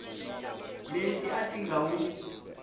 leti a ti nga wu